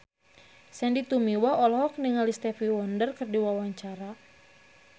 Sandy Tumiwa olohok ningali Stevie Wonder keur diwawancara